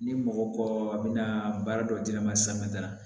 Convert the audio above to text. Ni mɔgɔ ko a bɛna baara dɔ di ne ma da la